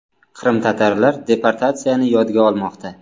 Qrimtatarlar deportatsiyani yodga olmoqda.